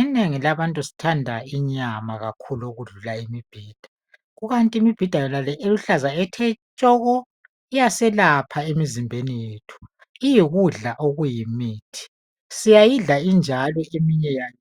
Inengi labantu sithanda inyama kakhulu okudlula imibhida. Kukanti imibhida yonale eluhlaza ethe tshoko iyaselapha emizimbeni yethu iyikudla engumuthi siyayidla injalo